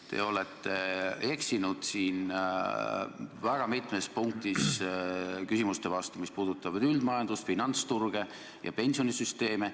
Te olete eksinud siin väga mitmes punktis, vastates küsimustele, mis puudutavad üldist majandust, finantsturge ja pensionisüsteeme.